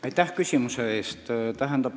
Aitäh küsimuse eest!